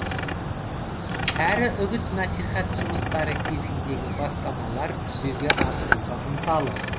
әрі үгіт насихат жұмыстары кезіндегі бастамаларын жүзеге асыруға ынталы